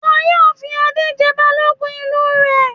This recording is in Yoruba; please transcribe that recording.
Wọn yóò fi Adé jẹ Balógun ìlú rẹ̀.